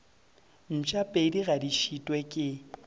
mpšapedi ga di šitwe ke